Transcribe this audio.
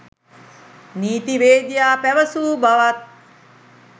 නීතිවේදියා පැවසූ බවත්